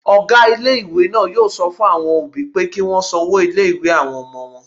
Ọgá ilé-ìwé náà yóò sọ fún àwọn òbí pé kí wọ́n san owó ilé-ìwé àwọn ọmọ wọn